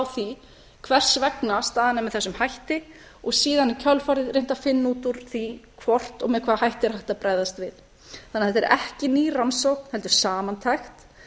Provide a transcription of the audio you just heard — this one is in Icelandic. því hvers vegna staðan er með þessum hætti og síðan í kjölfarið reynt að finna út úr því hvort og með hvaða hætti er hægt að bregðast við þannig að þetta er ekki ný rannsókn heldur samantekt